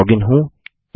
मैं लॉगिन हूँ